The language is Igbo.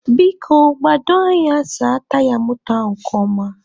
Biko, gbado anya saa taya moto a nke ọma.